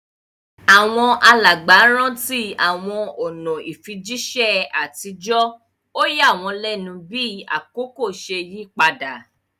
Àwọn alàgbà rántí àwọn ọ̀nà ìfijíṣẹ́ àtijọ́, ó yà wọ́n lẹ́nu bí àkókò ṣe yí padà.